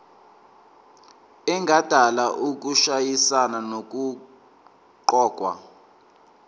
engadala ukushayisana nokuqokwa